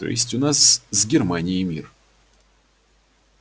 то есть у нас с германией мир